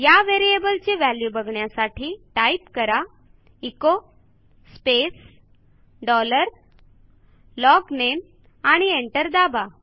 या व्हेरिएबल ची व्हॅल्यू बघण्यासाठी टाईप करा एचो स्पेस डॉलर LOGNAMEआणि एंटर दाबा